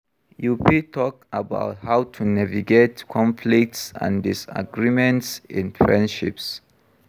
you fit talk about how to navigate conflicts and disagreements in friendships.